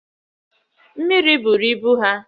Mmiri buru ibu ha